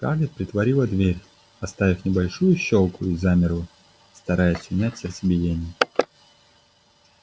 скарлетт притворила дверь оставив небольшую щёлку и замерла стараясь унять сердцебиение